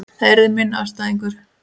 Það yrði minn andstæðingur.